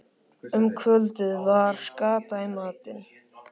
Um kvöldið var skata í matinn.